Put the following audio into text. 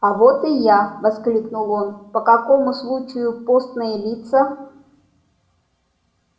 а вот и я воскликнул он по какому случаю постные лица